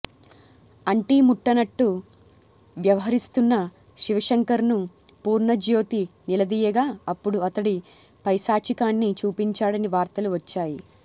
అంటీముట్టనట్టు వ్యవహరిస్తున్న శివశంకర్ను పూర్ణజ్యోతి నిలదీయగా అప్పుడు అతడి పైశాచికాన్ని చూపించాడని వార్తలు వచ్చాయి